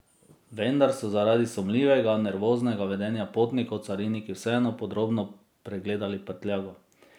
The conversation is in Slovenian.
Vendar so zaradi sumljivega, nervoznega vedenja potnikov cariniki vseeno podrobno pregledali prtljago.